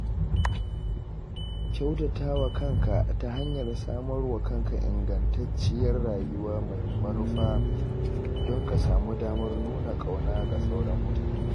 Kyautatawa kanka ta hanyar samarwa kanka ingantacciyar rayuwa mai manufa don ka samu damar nuna ƙauna ga sauran mutane.